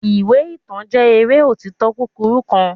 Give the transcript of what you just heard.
iwe itan jẹ eré otito kukuru kan